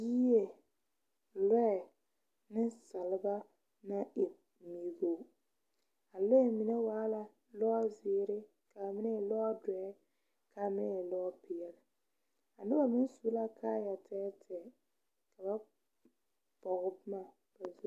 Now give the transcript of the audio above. Yie lɔɛ nensaaleba naŋ e nɛgɔ a lɔɛ mine waa la lɔzeere ka a mine e lɔdɔɛ ka a mine e lɔpeɛle a noba meŋ su la kaaya tɛɛtɛɛ ka ba pɔge boma ba zu.